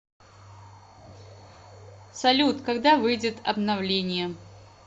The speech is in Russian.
салют когда выйдет обновление